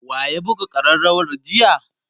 wa ya buga karrawar jiya?